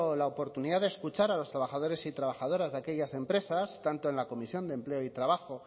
la oportunidad de escuchar a los trabajadores y trabajadoras de aquellas empresas tanto en la comisión de empleo y trabajo